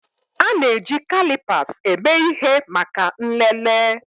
A na-eji kalipas eme ihe maka nlele